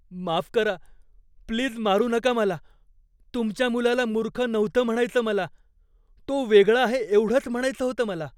माफ करा, प्लीज मारू नका मला. तुमच्या मुलाला मूर्ख नव्हतं म्हणायचं मला. तो वेगळा आहे एवढंच म्हणायचं होतं मला.